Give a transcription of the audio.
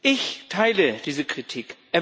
Ich teile diese Kritik.